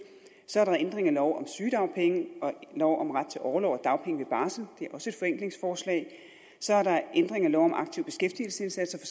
så er der ændring af lov om sygedagpenge og lov om ret til orlov og dagpenge ved barsel det er også et forenklingsforslag så er der ændring af lov om aktiv beskæftigelsesindsats